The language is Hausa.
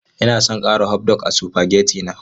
Ina son ƙara hotdog a supageti na.